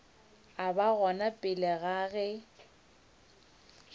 ba gona pele ga ge